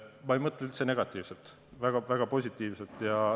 Ma ei mõtle üldse negatiivselt, vaid väga positiivselt.